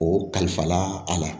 O kalifala a la